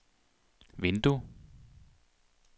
vindue